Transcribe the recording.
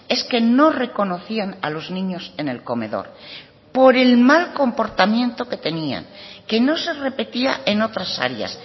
es que no reconocían a los niños en el comedor por el mal comportamiento que tenían que no se repetía en otras áreas